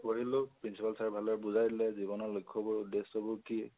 পঢ়িলো, principal sir এ বুজাই দিলে জীৱণৰ লক্ষ্য বোৰ উদেশ্য বোৰ কি